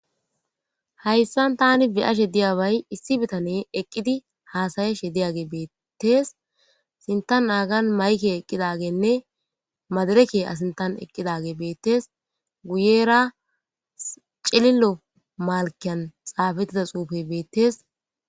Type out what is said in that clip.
Hayssan tani be'ashshe diyabay issi bitane eqqidi haasayashshe diyage beettes sintan aagan mayke eqqidagenne madireke asintan eqqidage beettes guyera cilillo malkan xaafettida xuufe beettes